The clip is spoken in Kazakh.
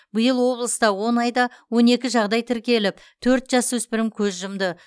биыл облыста он айда он екі жағдай тіркеліп төрт жасөспірім көз жұмды